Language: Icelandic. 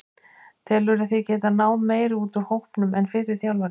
Telurðu þig geta náð meiru út úr hópnum en fyrri þjálfari?